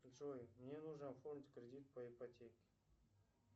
джой мне нужно оформить кредит по ипотеке